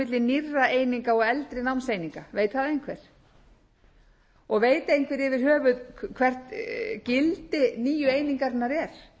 milli nýrra eininga og eldri námseininga veit það einhver og veit einhver yfir höfuð hvert gildi nýju einingarnar er er